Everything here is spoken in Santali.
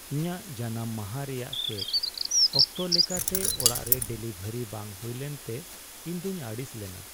ᱤᱧᱟᱹᱜ ᱡᱟᱱᱟᱢ ᱢᱟᱦᱟ ᱨᱮᱭᱟᱜ ᱠᱮᱠ ᱚᱠᱛᱚ ᱞᱮᱠᱟᱛᱮ ᱚᱲᱟᱜ ᱨᱮ ᱰᱮᱞᱤᱵᱷᱟᱨᱤ ᱵᱟᱝ ᱦᱩᱭ ᱞᱮᱱᱛᱮ ᱤᱧᱫᱩᱧ ᱟᱹᱲᱤᱥ ᱞᱮᱱᱟ ᱾